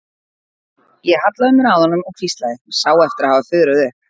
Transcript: Ég hallaði mér að honum og hvíslaði, sá eftir að hafa fuðrað upp.